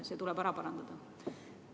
See tuleb ära parandada.